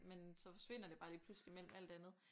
Men så forsvinder det bare lige pludselig mellem alt andet